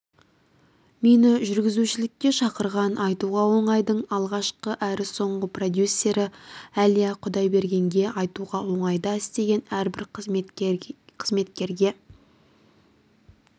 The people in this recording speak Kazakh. мені жүргізушілікке шақырған айтуға оңайдың алғашқы әрі соңғы продюсері әлия құдайбергенге айтуға оңайда істеген әрбір қызметкерге